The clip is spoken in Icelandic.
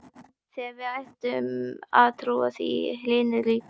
Þegar við hættum að trúa því, hrynur ríkið!